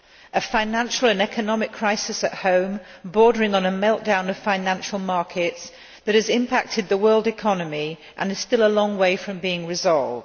He has a financial and economic crisis at home, bordering on a meltdown of financial markets, that has impacted the world economy and is a still a long way from being resolved.